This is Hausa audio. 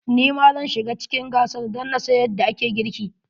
Ni ma zan shiga cikin gasar dan na san yadda ake girki.